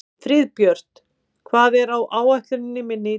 Friðbjört, hvað er á áætluninni minni í dag?